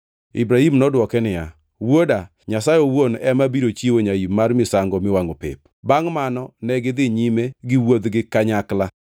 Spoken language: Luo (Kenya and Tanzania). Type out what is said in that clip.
Ibrahim nodwoke niya, “Wuoda, Nyasaye owuon ema biro chiwo nyaim mar misango miwangʼo pep.” Bangʼ mano negidhi nyime giwuodhgi kanyakla.